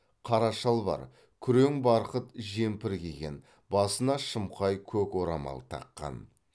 қара шалбар күрең барқыт жемпір киген басына шымқай көк орамал таққан